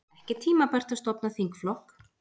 Ekki tímabært að stofna þingflokk